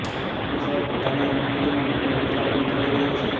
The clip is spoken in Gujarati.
કોંગ્રેસ હવે પોતાની રણનીતિમાં મોટો બદલાવ પણ કરી રહી છે